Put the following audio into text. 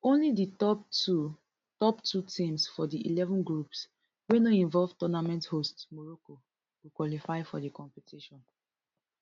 only di top two top two teams for di eleven groups wey no involve tournament hosts morocco go qualify for di competition